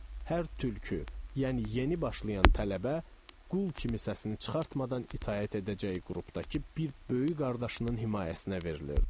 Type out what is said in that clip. Hər tülkü, yəni yeni başlayan tələbə qul kimi səsini çıxartmadan itaət edəcəyi qrupdakı bir böyük qardaşının himayəsinə verilirdi.